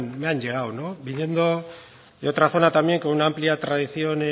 me han llegado viniendo de otra zona también con una amplia tradición